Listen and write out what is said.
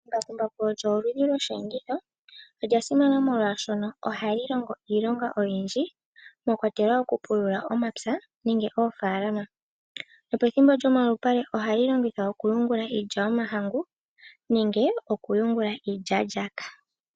Embakumbaku olyo li li oshiyenditho. Olya simana molwaashoka ohali longo iilonga oyindji mwakwatelwa oku pulula omapya nenge oofaalama. Nopethimbo lyomalupale ohali longithwa oku yungula iilya yomahangu nenge okuyungula iilyaalyaaka.